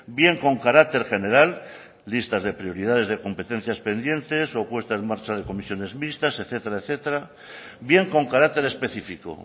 bien con carácter general listas de prioridades de competencias pendientes o puesta en marcha de comisiones mixtas etcétera etcétera bien con carácter específico